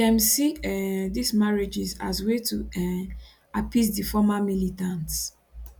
dem see um dis marriages as way to um appease di former militants